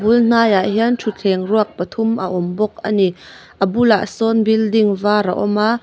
a bul hnaiah hian thuthleng ruak pathum a awm bawk ani a bulah sawn building var a awm a.